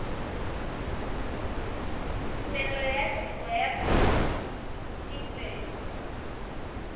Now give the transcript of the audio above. tumelelo ya tiro ya phetisetso